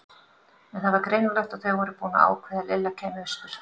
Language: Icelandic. En það var greinilegt að þau voru búin að ákveða að Lilla kæmi austur.